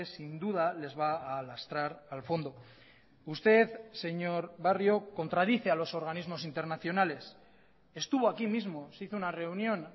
sin duda les va a lastrar al fondo usted señor barrio contradice a los organismos internacionales estuvo aquí mismo se hizo una reunión